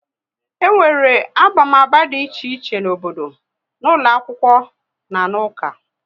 E nwere abamaba dị iche iche n'obodo, n'ụlọ akwụkwọ na n'uka